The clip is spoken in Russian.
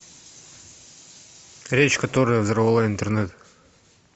речь которая взорвала интернет